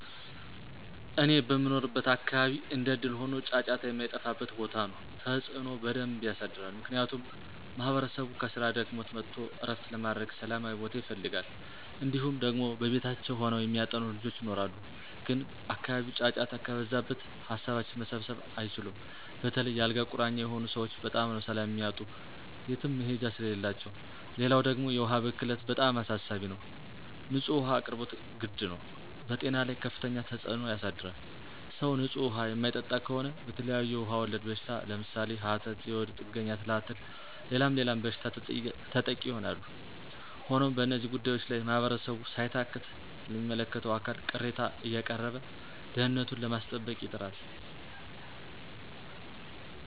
እኔ በምኖርበት አካባቢ እንደእድል ሆኖ ጫጫታ የማይጠፍው ቦታ ነው። ተፅዕኖ በደንብ የሳድራል። ምክንያቱም ማህበረሰቡ ከስራ ደክሞት መጥቶ ዕረፍት ለማድረግ ሠላማዊ ቦታ ይፈልጋል። እንዲሁም ደግሞ ከቤታቸው ሆነው የሚያጠኑ ልጆች ይኖራሉ ግን አካባቢው ጫጫታ ከበዛበት ሀሳባቸውን መሰብሰብ አይችሉም. በተለይ የ አልጋ ቁራኛ የሆኑ ሰወች በጣም ነው ሰላም የሚያጡ የትም መሄጃ ስለሌላቸው። ሌላው ደግሞ የውሀ ብክለት በጣም አሳሳቢ ነው። ንፁህ ውሀ አቅርቦት ግድ ነው። በጤና ላይ ከፍተኛ ተፅዕኖ ያሳድራል .ሰው ንፁህ ውሀ የማይጠጣ ከሆነ በተለያዬ ውሀ ወለድ በሽታ ለምሳሌ፦ ሀተት፣ የሆድ ጥገኛ ትላትል ሌላም ሌላም በሽታ ተጠቂ ይሆናሉ። ሆኖም በእነዚህ ጉዳዮች ላይ ማህበረሰቡ ሳይታክት ለሚመለከተው አካል ቅሬታ አያቀረበ ደህንነቱኑ ለማስጠበቅ ይጥራል።